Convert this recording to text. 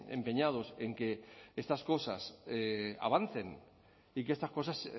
empeñados en que estas cosas avancen y que estas cosas